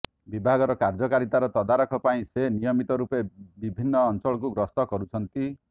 ବିଭାଗର କାର୍ଯ୍ୟକାରିତାର ତଦାରଖ ପାଇଁ ସେ ନିୟମିତ ରୂପେ ବିଭିନ୍ନ ଅଞ୍ଚଳକୁ ଗସ୍ତ କରୁଛନ୍ତି